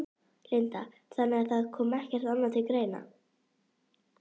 Linda: Þannig að það kom ekkert annað til greina?